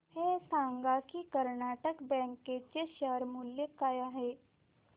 हे सांगा की कर्नाटक बँक चे शेअर मूल्य काय आहे